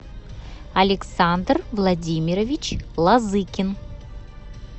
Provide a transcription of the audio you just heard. александр владимирович лазыкин